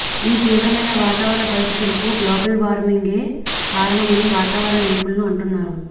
ఈ తీవ్రమైన వాతావరణ పరిస్థితులకు గ్లోబల్ వార్మింగే కారణమని వాతావరణ నిపుణులు అంటున్నారు